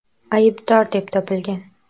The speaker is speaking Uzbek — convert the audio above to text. aybdor deb topilgan.